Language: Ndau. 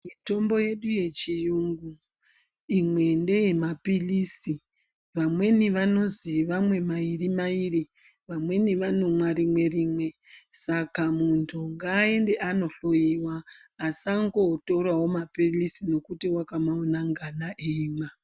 Mitombo yedu yechiyungu imwe ndeye maphirisi vamweni vanozi vamwe mairi-mairi. Vamweni vanomwa rimwe-rimwe saka muntu ngaende anohloiwa asangotoravo maphirisi nekuti vakamaona ngana eimwa.